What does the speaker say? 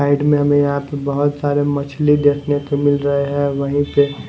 side में हमें यहाँ पे बहुत सारे मछली देखने को मिल रहे है वही पे--